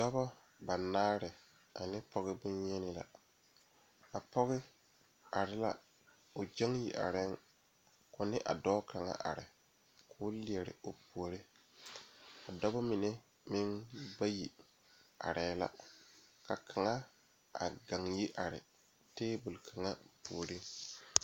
Noba bayoɔbo naŋ are tabol zu bayi meŋ zeŋ la dakogi zu ka bayi meŋ are ka kaŋa su kpare naŋ waa pelaa.